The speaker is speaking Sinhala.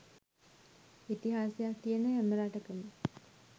ඉතිහාසයක් තියෙන හැම රටකම